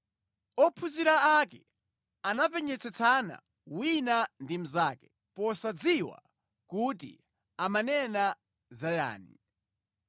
Ophunzira ake anapenyetsetsana wina ndi mnzake, posadziwa kuti amanena za yani.